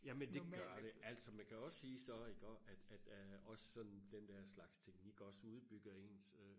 jamen det gør det altså man kan også sige så iggå at at også den der slags teknink også udbygger ens øh